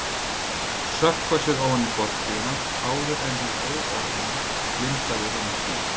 Sökkva sér ofan í fortíðina áður en hið óorðna blindaði honum sýn.